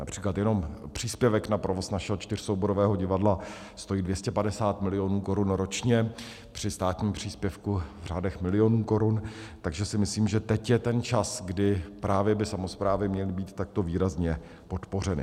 Například jenom příspěvek na provoz našeho čtyřsouborového divadla stojí 250 milionů korun ročně při státním příspěvku v řádech milionů korun, takže si myslím, že teď je ten čas, kdy právě by samosprávy měly být takto výrazně podpořeny.